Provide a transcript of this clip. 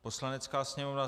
Poslanecká sněmovna: